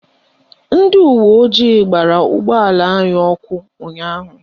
Ndị uweojii gbara ụgbọala anyị ọkụ ụnyaahụ